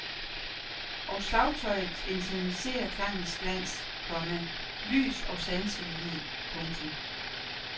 Og slagtøjet intensiverer klangens glans, komma lys og sanselighed. punktum